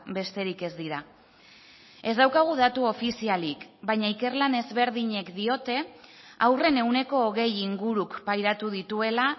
besterik ez dira ez daukagu datu ofizialik baina ikerlan ezberdinek diote haurren ehuneko hogei inguruk pairatu dituela